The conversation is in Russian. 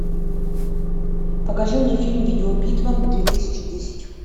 покажи мне фильм видеобитва две тысячи десять